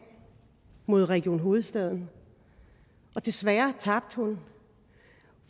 mod region hovedstaden desværre tabte hun